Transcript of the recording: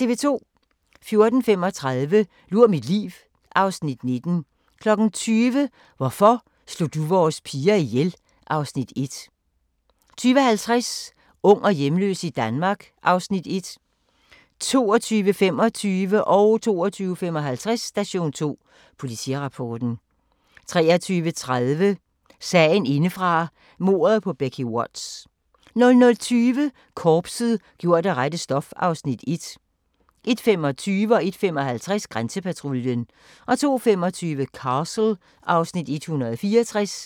14:35: Lur mit liv (Afs. 19) 20:00: Hvorfor slog du vores piger ihjel? (Afs. 1) 20:50: Ung og hjemløs i Danmark (Afs. 1) 22:25: Station 2: Politirapporten 22:55: Station 2: Politirapporten 23:30: Sagen indefra: Mordet på Becky Watts 00:20: Korpset – gjort af det rette stof (Afs. 1) 01:25: Grænsepatruljen 01:55: Grænsepatruljen 02:25: Castle (Afs. 164)